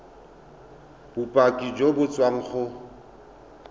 bopaki jo bo tswang go